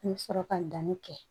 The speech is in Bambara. I bɛ sɔrɔ ka danni kɛ